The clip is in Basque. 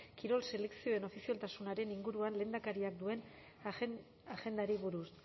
kirol selekzioen ofizialtasunaren inguruan lehendakariak duen agendari buruz